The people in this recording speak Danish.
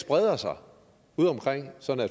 breder sig udeomkring